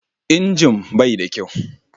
Injin bai da kyau.